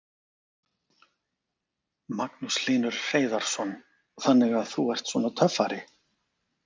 Magnús Hlynur Hreiðarsson: Þannig þú ert svona töffari?